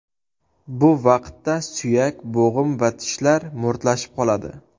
Bu vaqtda suyak, bo‘g‘im va tishlar mo‘rtlashib qoladi.